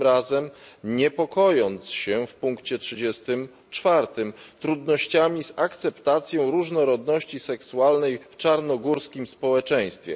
Tym razem niepokojąc się w punkcie 34 trudnościami z akceptacją różnorodności seksualnej w czarnogórskim społeczeństwie.